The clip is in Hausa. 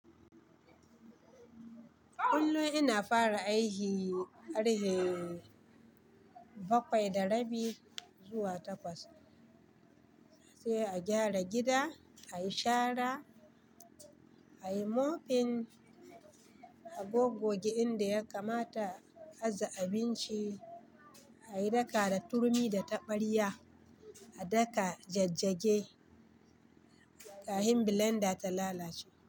Kullum ina fara aiki karhe bakwai da rabi zuwa takwas. Safiya a gyara gida, a yi shara, a yi mopping, a gogge inda ya kamata a aje abinci, a yi daka da turmi da taɓarya, a daka jajjage, kafin blender ta lalace.